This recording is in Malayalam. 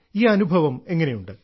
ഈ അനുഭവം എങ്ങനെയുണ്ട്